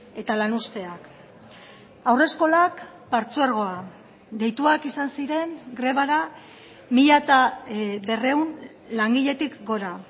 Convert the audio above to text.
eta lanuzteak haurreskolak partzuergoa deituak izan ziren grebara mila berrehun langiletik gora